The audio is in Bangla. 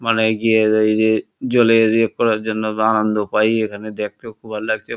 মানে গিয়ে ইয়ে জলের এ করার জন্য আনন্দ পাই এখানে দেখতে ও খুব ভাল লাগছে।